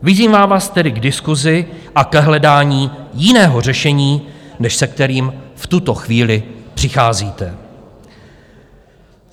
Vyzývám vás tedy k diskusi a k hledání jiného řešení, než se kterým v tuto chvíli přicházíte.